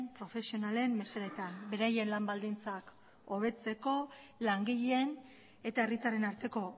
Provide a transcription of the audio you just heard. profesionalen mesedetan beraien lan baldintzak hobetzeko langileen eta herritarren arteko